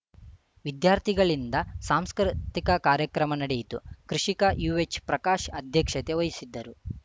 ವಿದ್ಯಾರ್ಥಿಗಳಿಂದ ಸಾಂಸ್ಕೃತಿಕ ಕಾರ್ಯಕ್ರಮ ನಡೆಯಿತು ಕೃಷಿಕ ಯುಎಚ್‌ಪ್ರಕಾಶ್‌ ಅಧ್ಯಕ್ಷತೆ ವಹಿಸಿದ್ದರು